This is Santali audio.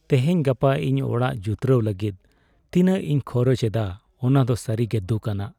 ᱛᱮᱦᱮᱧᱼᱜᱟᱯᱟ ᱤᱧ ᱚᱲᱟᱜ ᱡᱩᱛᱨᱟᱹᱣ ᱞᱟᱹᱜᱤᱫ ᱛᱤᱱᱟᱹᱜ ᱤᱧ ᱠᱷᱚᱨᱚᱪ ᱮᱫᱟ ᱚᱱᱟ ᱫᱚ ᱥᱟᱹᱨᱤ ᱜᱮ ᱫᱩᱠᱼᱟᱱᱟᱜ ᱾